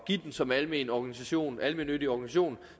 give den som almennyttig organisation almennyttig organisation